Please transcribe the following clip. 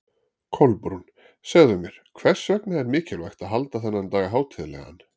Kolbrún, segðu mér, hvers vegna er mikilvægt að halda þennan dag hátíðlegan?